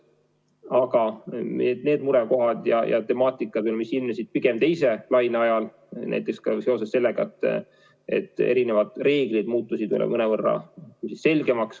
Aga teatud murekohad ja temaatika ilmnesid pigem teise laine ajal, näiteks ka seoses sellega, et reeglid muutusid mõnevõrra selgemaks.